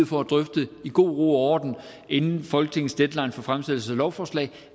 for at drøfte i god ro og orden inden folketingets deadline for fremsættelse af lovforslag